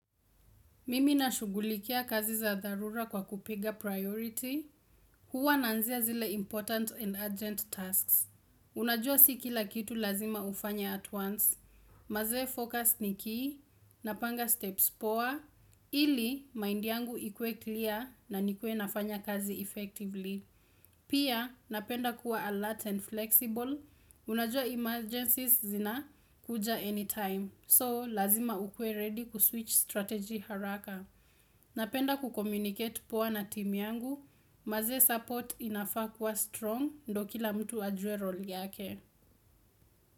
Mimi nashugulikia kazi za dharura kwa kupiga priority, huwa naanzia zile important and urgent tasks. Unajua si kila kitu lazima ufanye at once, mazee focus ni key, napanga steps poa, ili mind yangu ikue clear na nikue nafanya kazi effectively. Pia, napenda kuwa alert and flexible, unajua emergencies zinakuja anytime. So, lazima ukue ready kuswitch strategy haraka. Napenda kucommunicate poa na timu yangu, maze support inafaa kuwa strong ndo kila mtu ajue role yake.